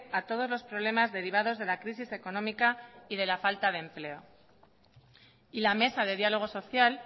a todos los problemas derivados de la crisis económica y de la falta de empleo y la mesa de diálogo social